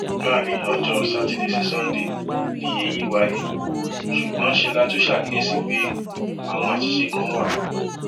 láàrin ọjọ sátidé sí sánńdẹ ni èyí wáyé ṣùgbọn ṣe la tún ṣàkíyèsí pé àwọn àṣìṣe kan wà